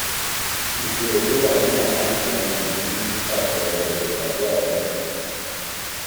ìṣírò tó wà nínú àkáǹtì ohun ìní ń ń ṣàpẹẹrẹ èrè tàbí àdánù.